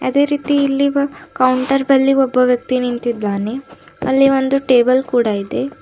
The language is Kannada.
ಅದೇ ರೀತಿ ಇಲ್ಲಿ ಕೌಂಟರ್ ಬಲ್ಲಿ ಒಬ್ಬ ವ್ಯಕ್ತಿ ನಿಂತಿದ್ದಾನೆ ಅಲ್ಲಿ ಒಂದು ಟೇಬಲ್ ಕೂಡ ಇದೆ.